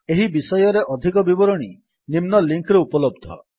ଏହି ବିଷୟରେ ଅଧିକ ବିବରଣୀ ନିମ୍ନ ଲିଙ୍କ୍ ରେ ଉପଲବ୍ଧ